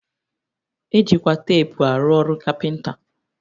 E jikwa teepu arụ ọrụ kapịnta